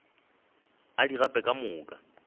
a di gape ka moka